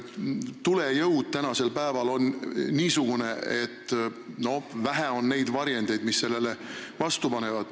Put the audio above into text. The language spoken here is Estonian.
Tulejõud on tänapäeval niisugune, et vähe on neid varjendeid, mis sellele vastu panevad.